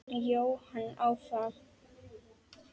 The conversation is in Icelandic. Jóhann áfram.